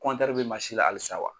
bɛ la halisa wa.